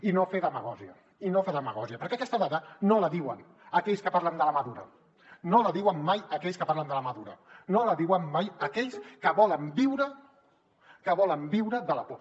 i no fer demagògia i no fer demagògia perquè aquesta dada no la diuen aquells que parlen de la mà dura no la diuen mai aquells que parlen de la mà dura no la diuen mai aquells que volen viure que volen viure de la por